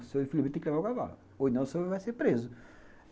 O senhor tem que levar o cavalo, ou não, o senhor vai ser preso.